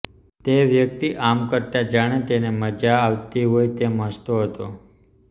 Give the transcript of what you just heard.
તે વ્યક્તિ આમ કરતા જાણે તેને મઝા આવતી હોય તેમ હસતો હતો